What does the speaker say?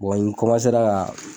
n ka